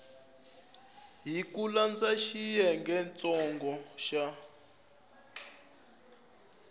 hi ku landza xiyengentsongo xa